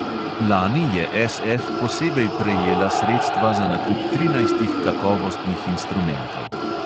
Lani je SF posebej prejela sredstva za nakup trinajstih kakovostnih instrumentov.